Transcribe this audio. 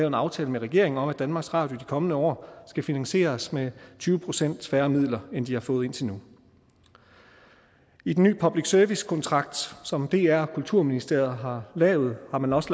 en aftale med regeringen om at danmarks radio i de kommende år skal finansieres med tyve procent færre midler end de har fået indtil nu i den nye public service kontrakt som dr og kulturministeriet har lavet har man også